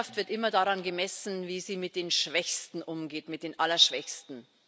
Eine Gesellschaft wird immer daran gemessen, wie sie mit den Schwächsten umgeht, mit den Allerschwächsten.